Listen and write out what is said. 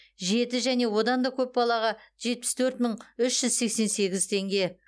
жеті және одан да көп балаға жетпіс төрт мың үш жүз сексен сегіз теңге